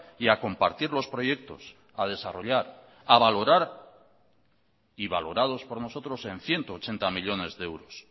y a compartir los proyectos a desarrollar a valorar y valorados por nosotros en ciento ochenta millónes de euros